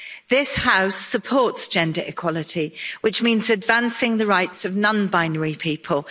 This House supports gender equality, which means advancing the rights of non binary people.